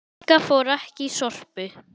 Inga fór ekki í Sorpu.